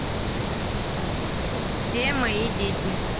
все мои дети